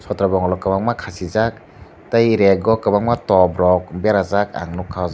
sotro bongol rok kwbangma khasijak tei rek o kwbangma top rok berajak ang nukha o jaga.